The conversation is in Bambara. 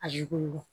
A yugu